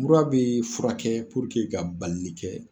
Mura bɛ furakɛ ka balili kɛ.